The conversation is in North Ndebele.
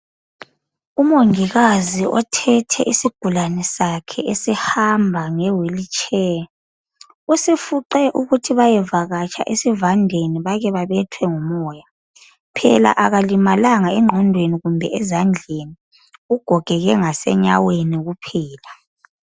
Umongikazi othethe isigulane sakhe esihamba nge wheelchair , usifuqe ukuthi bayevakatsha esivandeni bake babethwe ngumoya , phela akalimalanga engqondweni kumbe ezandleni ugogeke ngasenyaweni kuphela